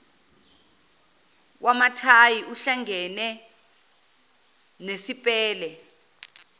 wamathayi uhlangene nesipele